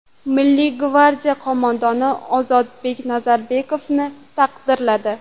Milliy gvardiya qo‘mondoni Ozodbek Nazarbekovni taqdirladi.